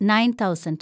nine thousand